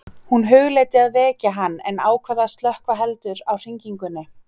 Hún hugleiddi að vekja hann en ákvað að slökkva heldur á hringingunni.